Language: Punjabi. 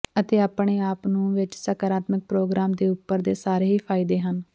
ਅਤੇ ਆਪਣੇ ਆਪ ਨੂੰ ਵਿੱਚ ਸਕਾਰਾਤਮਕ ਪ੍ਰੋਗਰਾਮ ਦੇ ਉਪਰ ਦੇ ਸਾਰੇ ਹੀ ਫਾਇਦੇ ਹਨ